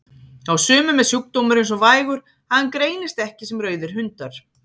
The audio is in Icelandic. Hjá sumum er sjúkdómurinn svo vægur að hann greinist ekki sem rauðir hundar.